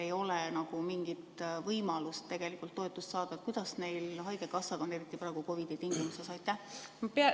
Kuidas on neil, kellel ei ole mingit võimalust toetust saada, haigekassaga, eriti praegu COVID-i tingimuses?